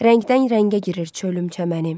Rəngdən rəngə girir çölüm-çəmənim.